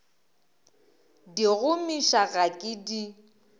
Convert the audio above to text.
di gomiša ga ke di